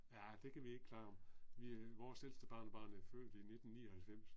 Ja det kan vi ikke klare. Vi vores ældste barnebarn er født i 1999